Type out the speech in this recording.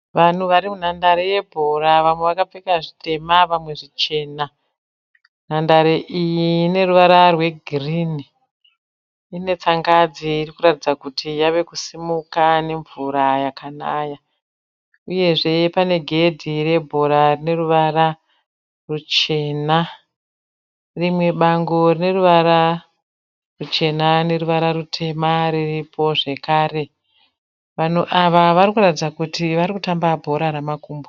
Vanhu vari munhandare yebhora. Vamwe vakapfeka zvitema vamwe zvichena. Nhandare iyi ine ruvara rwegirini. Ine tsangadzi iri kuratidza kuti yava kusimuka nemvura yakanaya. Uyezve pane gedhi rebhora rine ruvara ruchena. Rimwe bango rine ruvara ruchena neruvara rutema riripo zvekare. Vanhu ava vari kuratidza kuti vari kutamba bhora ramakumbo.